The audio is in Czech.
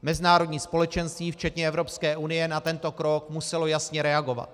Mezinárodní společenství včetně Evropské unie na tento krok muselo jasně reagovat.